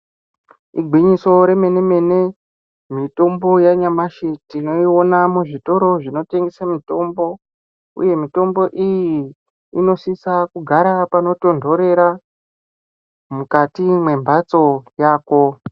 Igwinyiso remene-mene, mitombo yanyamashi tinoiona muzvitoro zvinotengesa mitombo. Uye mutombo iyi inosisa kugara panotondhorera, mukati mwembhatso yako.